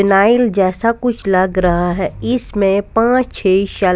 जैसा कुछ लग रहा है इसमें पांच छह.